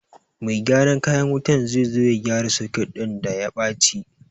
Mai gyaran kayan wuta zai zo ya gyara soket ɗin da ya baci